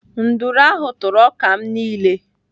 Nduru ahụ tụrụ ọka m niile.